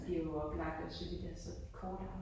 Det jo oplagt også fordi det er så kort også